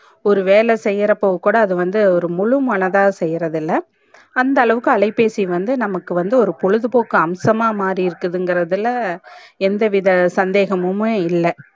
ஒரு வேல செயிரப்ப கூட அது வந்து ஒரு முழு மனதா செய்யறது இல்ல அந்த அளவுக்கு அலைபேசி வந்து நமக்கு வந்து ஒரு பொழுது போக்கு அம்சமா மாறிருக்கு இங்கர்துல எந்த வித சந்தேகமுமே இல்ல